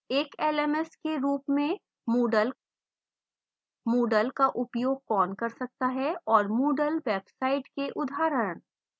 एक lms के रूप में moodle moodle का उपयोग कौन कर सकता है और moodle websites के उदाहरण